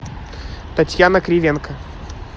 татьяна кривенко